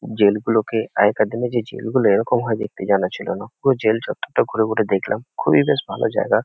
জেলগুলোকে আগেকার দিনে যে জেলগুলো এরকম হয় দেখতে জানা ছিল না। পুরো জেলচত্বরটা ঘুরে ঘুরে দেখলাম। খুবই বেশ ভালো জায়গা।